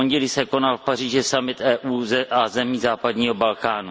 V pondělí se konal v Paříži summit EU a zemí západního Balkánu.